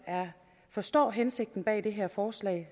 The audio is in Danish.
forstår hensigten bag det her forslag